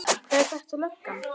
Var þetta löggan?